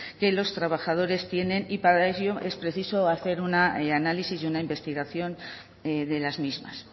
que los trabajadores tienen y para ello es preciso hacer un análisis y una investigación de las mismas